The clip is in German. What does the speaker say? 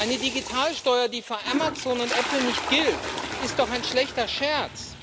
Eine Digitalsteuer, die für Amazon und Apple nicht gilt, ist doch ein schlechter Scherz.